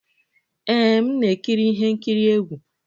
Ee, m na-ekiri ihe nkiri egwu